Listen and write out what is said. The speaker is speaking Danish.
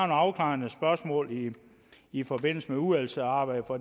afklarende spørgsmål i forbindelse med udvalgsarbejdet for